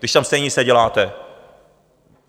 Když tam stejně nic neděláte?